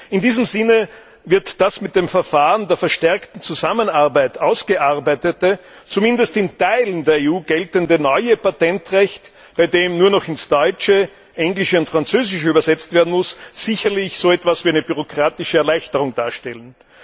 In diesem Sinne wird das mit dem Verfahren der verstärkten Zusammenarbeit ausgearbeitete, zumindest in Teilen der EU geltende neue Patentrecht, bei dem nur noch ins Deutsche, Englische und Französische übersetzt werden muss, sicherlich so etwas wie eine bürokratische Erleichterung darstellen.